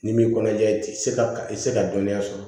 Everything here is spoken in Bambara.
N'i m'i kɔnɔja i ka i tɛ se ka dɔnniya sɔrɔ